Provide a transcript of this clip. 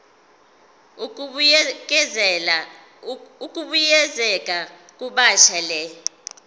ukubuyekeza kabusha le